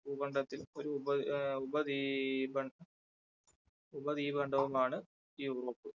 ഭൂഖണ്ഡത്തിൽ ഒരു ഉപ ആ ഉപദ്വീപാ ഉപദീപണ്ഡവുമാണ് ആണ് യൂറോപ്പ്.